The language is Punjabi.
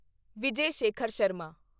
ਵਿਜੇ ਸ਼ੇਖਰ ਸ਼ਰਮਾ